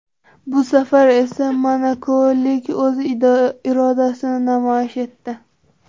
Bu safar esa monakoliklar o‘z irodasini namoyish etdi.